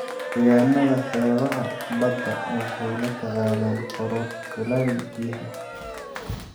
Deegaanada xeebaha badda waxay la tacaalaan kororka kuleylka biyaha.